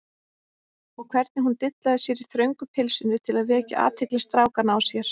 Og hvernig hún dillaði sér í þröngu pilsinu til að vekja athygli strákanna á sér!